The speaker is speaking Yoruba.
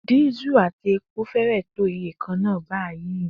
Diesel àti epo fẹ́rẹ̀ẹ́ tó iye kan náà báyìí.